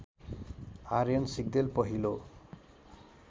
आर्यन सिग्देल पहिलो